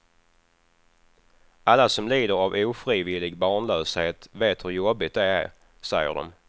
Alla som lider av ofrivillig barnlöshet vet hur jobbigt det är, säger de.